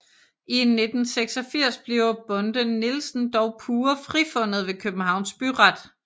I 1986 bliver Bonde Nielsen dog pure frifundet ved Københavns Byret